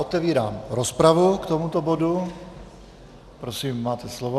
Otevírám rozpravu k tomuto bodu, prosím, máte slovo.